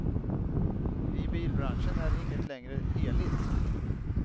I bilbranschen är inget längre heligt.